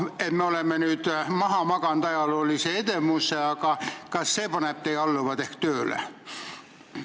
Me oleme maha maganud ajaloolise edemuse, aga kas see ehk paneb teie alluvad tööle?